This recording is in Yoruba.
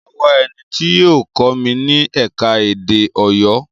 Mo máa wá ẹni tí yóò kọ́ mi ni ẹ̀ka-èdè Ọ̀yọ́